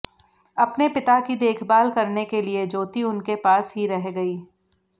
अपने पिता की देखभाल करने के लिए ज्योति उनके पास ही रह गयी